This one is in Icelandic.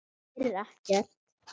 Heyrir ekkert.